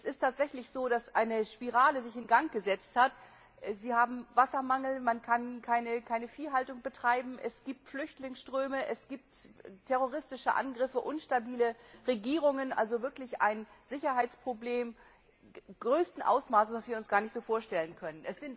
Es ist tatsächlich so, dass sich eine Spirale in Gang gesetzt hat Sie haben Wassermangel, man kann keine Viehhaltung betreiben, es gibt Flüchtlingsströme, es gibt terroristische Angriffe, unstabile Regierungen da besteht also wirklich ein Sicherheitsproblem größten Ausmaßes, das wir uns so gar nicht vorstellen können.